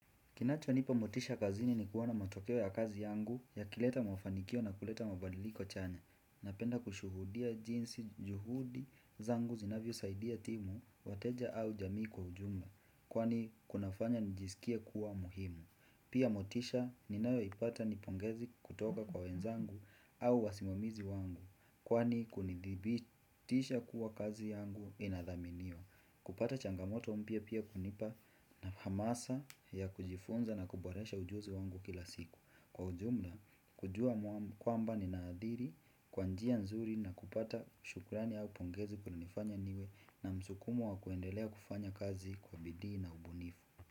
Kinacho nipa motisha kazini ni kuona matokeo ya kazi yangu ya kileta mafanikio na kuleta mabadiliko chanya. Napenda kushuhudia jinsi juhudi zangu zinavyo saidia timu, wateja au jamii kwa ujumla. Kwani kunafanya nijisikie kuwa muhimu. Pia motisha ni nayo ipata nipongezi kutoka kwa wenzangu au wasimamizi wangu. Kwani kunidhibitisha kuwa kazi yangu inadhaminiwa. Kupata changamoto mpya pia kunipa na hamasa ya kujifunza na kuboresha ujuzi wangu kila siku Kwa ujumla, kujua kwamba ni naadhiri, kwanjia nzuri na kupata shukurani au pongezi kuna nifanya niwe na msukumo wa kuendelea kufanya kazi kwa bidii na ubunifu.